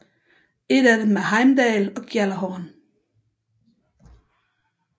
Et af dem er Heimdall og Gjallerhorn